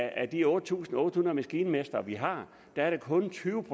af de otte tusind otte hundrede maskinmestre vi har er der kun tyve